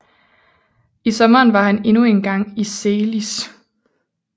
I sommeren var han endnu en gang i Zelis